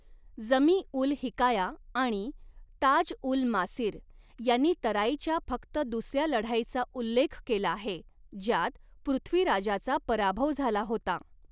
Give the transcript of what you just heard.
जमी उल हिकाया आणि ताज उल मासीर यांनी तराईच्या फक्त दुसऱ्या लढाईचा उल्लेख केला आहे, ज्यात पृथ्वीराजाचा पराभव झाला होता.